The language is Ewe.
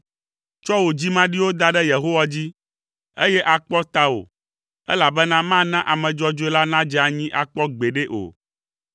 Tsɔ wò dzimaɖiwo da ɖe Yehowa dzi, eye akpɔ tawò, elabena mana ame dzɔdzɔe la nadze anyi akpɔ gbeɖe o.